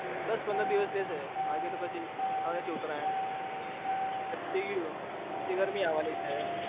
બસ પંદર દિવસ રેશે પછી તો આવે છે ઉતરાણ પછી ગરમી આવાની છે